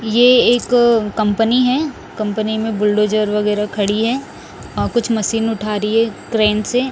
ये एक अ कंपनी है कंपनी में बुलडोजर वगैराह खड़ी हैं और कुछ मशीन उठा रही है क्रेन से--